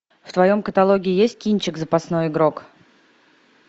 в твоем каталоге есть кинчик запасной игрок